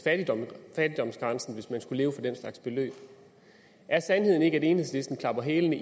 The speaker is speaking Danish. fattigdomsgrænsen hvis man skulle leve for den slags beløb er sandheden ikke at enhedslisten klapper hælene